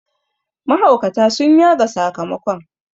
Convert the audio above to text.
mahaukata sun yaga sakamakon